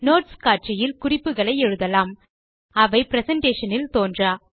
notes காட்சியில் குறிப்புகளை எழுதலாம் அவை பிரசன்டேஷன் இல் தோன்றா